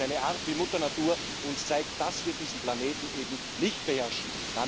Das ist eine Art, wie Mutter Natur uns zeigt, dass wir diesen Planeten eben nicht beherrschen.